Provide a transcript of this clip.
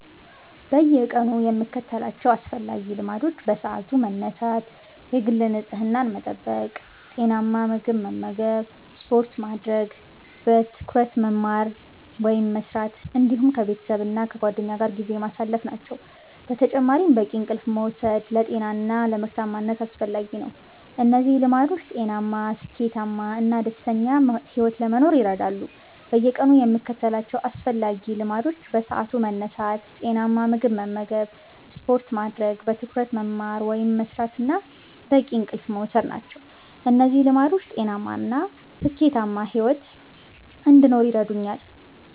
በየቀኑ የምከተላቸው አስፈላጊ ልማዶች በሰዓቱ መነሳት፣ የግል ንጽህናን መጠበቅ፣ ጤናማ ምግብ መመገብ፣ ስፖርት ማድረግ፣ በትኩረት መማር ወይም መስራት፣ እንዲሁም ከቤተሰብና ከጓደኞች ጋር ጊዜ ማሳለፍ ናቸው። በተጨማሪም በቂ እንቅልፍ መውሰድ ለጤና እና ለምርታማነት አስፈላጊ ነው። እነዚህ ልማዶች ጤናማ፣ ስኬታማ እና ደስተኛ ሕይወት ለመኖር ይረዳሉ። በየቀኑ የምከተላቸው አስፈላጊ ልማዶች በሰዓቱ መነሳት፣ ጤናማ ምግብ መመገብ፣ ስፖርት ማድረግ፣ በትኩረት መማር ወይም መስራት እና በቂ እንቅልፍ መውሰድ ናቸው። እነዚህ ልማዶች ጤናማ እና ስኬታማ ሕይወት እንድኖር ይረዱኛል።